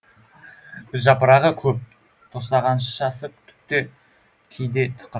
гүлжапырағы көп тостағаншасы түкті кейде тықыр